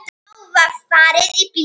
Þá var farið í bíltúr.